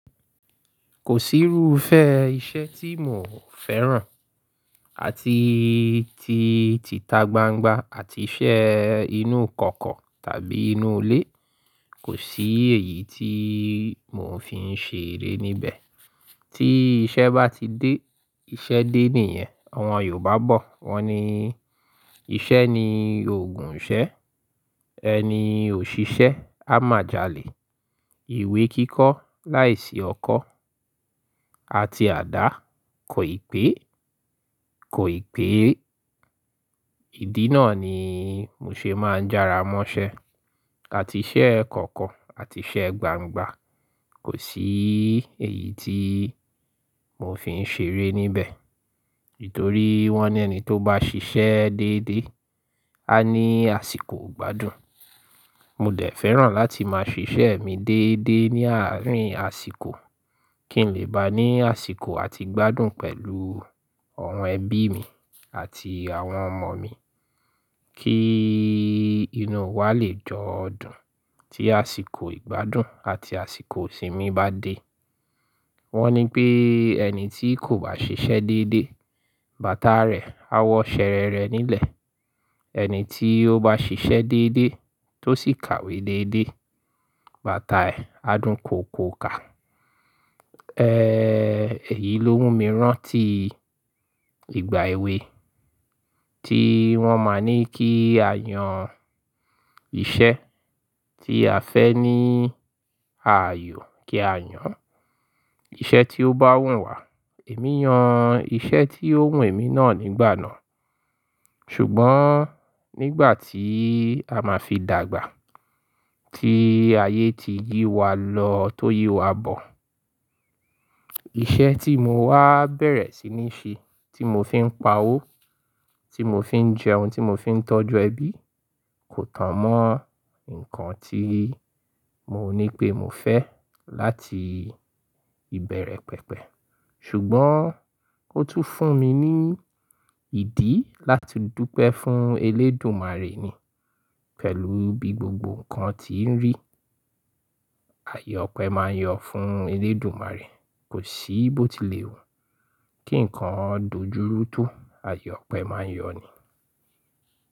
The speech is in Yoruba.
Kò sí irúfẹ́ iṣẹ́ tí mò ń fẹ́ràn àti tí ti tagbangba àti iṣẹ́ inú kọ̀kọ̀ tàbí inú ilé, kò sí èyí tí mò ń fi ṣe eré níbẹ̀. Tí iṣẹ́ bá ti dé, iṣẹ́ dé nìyẹn. Àwọn Yorùbá bọ̀ wọ́n ni "Iṣẹ́ ni òògùn ìṣẹ́. Ẹni ò ṣiṣẹ́ á mà jálè." Ìwé kíkọ́ láìsí ọkọ́ àti àdá kò ì pé, kò ì pé. Ìdí náà ni mo ṣe máa ń jára mọ́ṣẹ́. Àti iṣẹ́ kọ̀ko àti iṣẹ́ gbangba, kò sí èyí tí mò ń fi ṣe eré níbẹ̀. Nítorí wọ́n ní ẹni tó bá ṣiṣẹ́ déédé á ní àsìkò ìgbádùn. Mo dè fẹ́ràn láti máa ṣiṣẹ́ mi déédé ní àárín àsìkò kí n lè ba ní àsìkò àti ìgbádùn pẹ̀lú àwọn ẹbí mi àti àwọn ọmọ mi, kí inú wa lè jọ dùn tí àsìkò ìgbádùn àti àsìkò ìsinmi bá dé. Wọ́n ní pé ẹni tí kò bá ṣiṣẹ́ déédé, bàtà rẹ̀ á wọ ṣẹ̀rẹ̀rẹ̀ nílẹ̀. Ẹni tí ó bá ṣiṣẹ́ déédé tó sì kàwé déédé, bàtà ẹ̀ á dún kokoka. Ee, èyí ló mú mi rán tí ìgbà èwe tí wọ́n máa ní kí a yan iṣẹ́ tí a fẹ́ ní ààyò kí a yan iṣẹ́ tí ó bá wù wà. Èmi yan iṣẹ́ tí ó wùn èmi náà nígbà náà. Ṣùgbọ́n nígbà tí a máa fi dàgbà, tí ayé ti yí wa lọ tó yí wa bọ̀, iṣẹ́ tí mo wá bẹ̀rẹ̀ sí ní ṣe, tí mo fi ń pa owó, tí mo fi ń jẹun, tí mo fi ń tọ́jú ẹbí kò tan mọ́ nǹkan tí mo ní pé mo fẹ́ láti ìbẹ̀rẹ̀ pẹ̀pẹ̀. Ṣùgbọ́n ó tún fún mi ní ìdí láti dúpẹ́ fún Elédùmarè ni pẹ̀lú bí gbogbo nǹkan ti ń rí. Àyè ọpẹ máa yọ fún Elédùmarè. Kò sí bó ti lè wù, kí nǹkan dojú rú tó, àyè ọpẹ máa yọ ni.